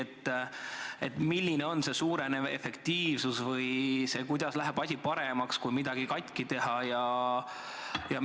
Kas küsiti, milline võiks olla see suurem efektiivsus või kuidas läheks asi paremaks, kui midagi katki tehakse?